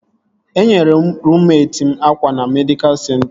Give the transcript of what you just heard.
Enyere ruummet m akwa na medịkal senta